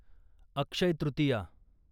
Akshaya Tritiya